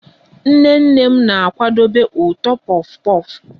Nnene m na-akwadebe ụtọ puff puff